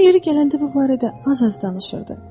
O yeri gələndə bu barədə az-az danışırdı.